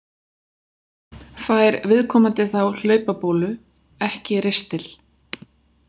Fær viðkomandi þá hlaupabólu, ekki ristil.